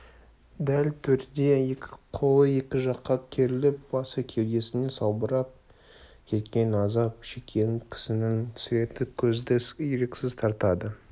дәл төрде екі қолы екі жаққа керіліп басы кеудесіне салбырап кеткен азап шеккен кісінің суреті көзді еріксіз тартады